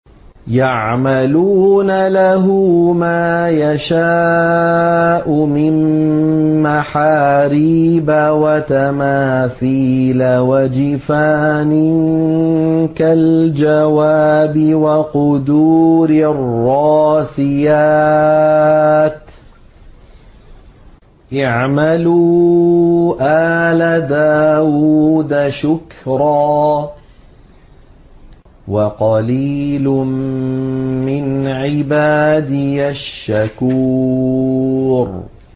يَعْمَلُونَ لَهُ مَا يَشَاءُ مِن مَّحَارِيبَ وَتَمَاثِيلَ وَجِفَانٍ كَالْجَوَابِ وَقُدُورٍ رَّاسِيَاتٍ ۚ اعْمَلُوا آلَ دَاوُودَ شُكْرًا ۚ وَقَلِيلٌ مِّنْ عِبَادِيَ الشَّكُورُ